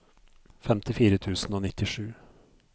femtifire tusen og nittisju